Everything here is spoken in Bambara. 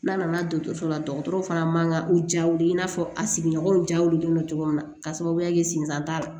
N'a nana dɔgɔtɔrɔso la dɔgɔtɔrɔ fana man kan ka u ja wuli i n'a fɔ a sigiɲɔgɔnw jaw de don cogo min na k'a sababuya kɛ senzan t'a la